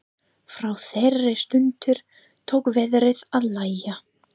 Frá þeirri stundu tók veðrið að lægja.